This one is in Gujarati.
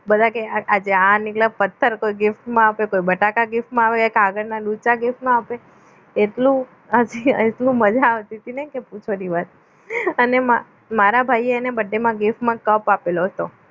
બધા કે આજે આ પથ્થર કોઈ gift મા આપે કોઈ બટાકા gift મા આપે કાગળના ડૂચા gift મા આપે એટલો હસીને એટલું મજા આવતી તી ને કે પૂછો નહીં વાત અને મારા ભાઈએ એને gift મા કપ આપેલો હતો